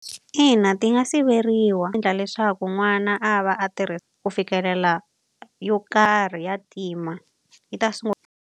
Ina ti nga siveriwa endla leswaku n'wana a va a ku fikelela yo karhi ya tima, yi ta .